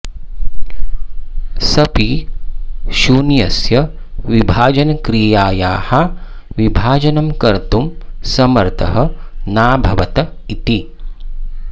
सऽपि शून्यस्य विभाजनक्रियायाः विभाजनं कर्तुं समर्थः नाभवत् इति